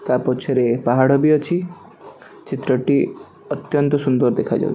ତା ପଛରେ ପାହାଡ ବି ଅଛି ଚିତ୍ରଟି ଅତ୍ୟନ୍ତ ସୁନ୍ଦର୍ ଦେଖାଯାଉ --